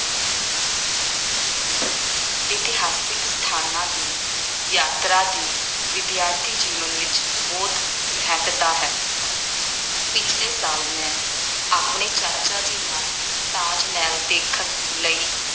ਇਤਿਹਾਸਕ ਸਥਾਨਾਂ ਦੀ ਯਾਤਰਾ ਦੀ ਵਿਦਿਆਰਥੀ ਜੀਵਨ ਵਿੱਚ ਬਹੁਤ ਮਹੱਤਤਾ ਹੈ। ਪਿਛਲੇ ਸਾਲ ਮੈਂ ਆਪਣੇ ਚਾਚਾ ਜੀ ਨਾਲ ਤਾਜ ਮਹਿਲ ਦੇਖਣ ਲਈ